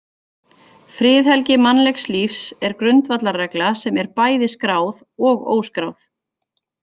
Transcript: Friðhelgi mannlegs lífs er grundvallarregla sem er bæði skráð og óskráð.